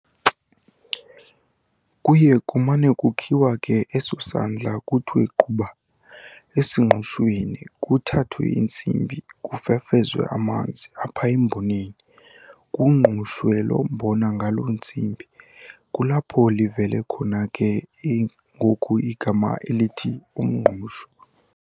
Kuye kumane kukhiwa ke eso sandla kuthwe quba esingqushweni kuthathwe intsimbi kufefezwe amanzi apha emboneni, kungqushwe lo mbona ngalo ntsimbi kulapho livele khona ke ngoku igama elithi umngqusho.